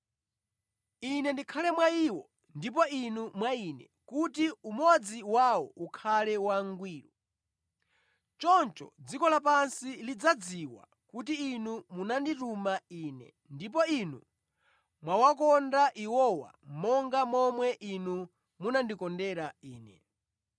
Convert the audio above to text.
Ine ndikhale mwa iwo ndipo Inu mwa Ine kuti umodzi wawo ukhale wangwiro. Choncho dziko lapansi lidzadziwa kuti Inu munandituma Ine ndipo Inu mwawakonda iwowa monga momwe Inu munandikondera Ine.